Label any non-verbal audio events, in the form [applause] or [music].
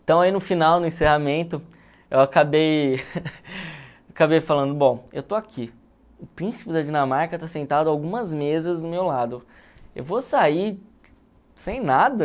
Então aí no final, no encerramento, eu acabei [laughs] acabei falando, bom, eu estou aqui, o príncipe da Dinamarca está sentado algumas mesas do meu lado, eu vou sair sem nada?